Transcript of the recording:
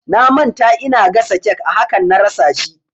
Na manta ina gasa cake a hakan na rasa shi